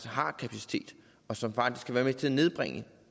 har kapacitet og som faktisk kan være med til at nedbringe